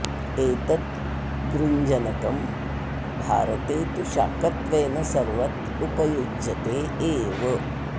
एतत् गृञ्जनकं भारते तु शाकत्वेन सर्वत्र उपयुज्यते एव